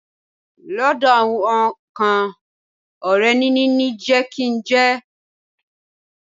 Lọ́dọ̀ àwọn kan, ọrẹ níní ni jẹ kí n jẹ.